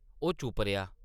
ओह् चुप्प रेहा ।